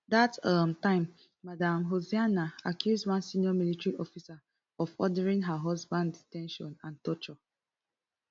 dat um time madam hussaina accuse one senior military officer of ordering her husband de ten tion and torture